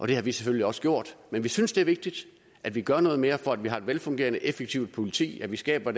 det har vi selvfølgelig men vi synes det er vigtigt at vi gør noget mere for at vi har et velfungerende effektivt politi at vi skaber